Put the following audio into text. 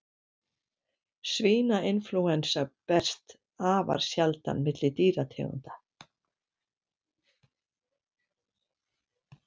Svínainflúensa berst afar sjaldan milli dýrategunda.